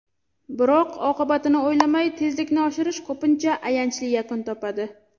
Biroq oqibatini o‘ylamay tezlikni oshirish ko‘pincha ayanchli yakun topadi.